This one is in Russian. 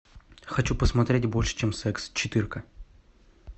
хочу посмотреть больше чем секс четырка